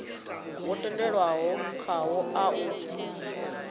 wo tendelanwaho khawo a u